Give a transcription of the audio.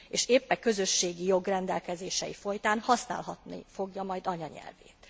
És épp e közösségi jog rendelkezései folytán használhatni fogja majd anyanyelvét.